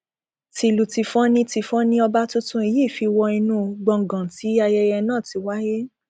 tìlù tìfọn ni tìfọn ni ọba tuntun yìí fi wọ inú gbọngàn tí ayẹyẹ náà ti wáyé